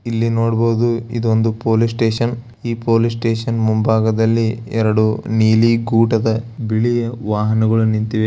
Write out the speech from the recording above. ಇಲ್ಲಿ ನೋಡಬಹುದು ಇದು ಪೊಲೀಸ್ ಸ್ಟೇಷನ್ ಪೊಲೀಸ್ ಸ್ಟೇಷನ್ ನ ಮುಂಭಾಗದಲ್ಲಿ ನೀಲಿ ಕೂಟದ ಎರಡು ಗಾಡಿಗಳಿವೆ.